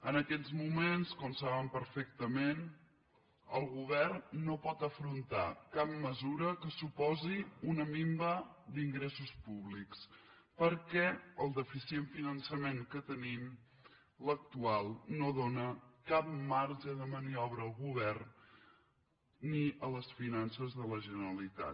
en aquests moments com saben perfectament el govern no pot afrontar cap mesura que suposi una minva d’ingressos públics perquè el deficient finançament que tenim l’ac·tual no dóna cap marge de maniobra al govern ni a les finances de la generalitat